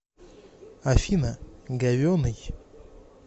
афина говенный